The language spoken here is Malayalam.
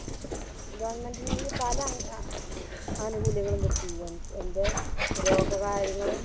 Government ൽ നിന്നും പല അംഗ അഹ് ആനുകൂല്യങ്ങളും കിട്ടി എൻറെ രോഗ കാര്യങ്ങളും